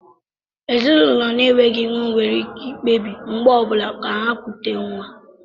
Ezinụlọ na-enweghị nwa nwere ike ikpebi mgbe ọ bụla ka ha kutè nwa